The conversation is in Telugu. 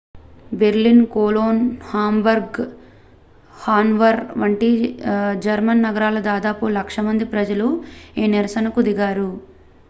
బెర్లిన్ కొలోన్ హాంబర్గ్ హానోవర్ వంటి జర్మన్ నగరాల్లో దాదాపు లక్ష మంది ప్రజలు ఈ నిరసన కు దిగారు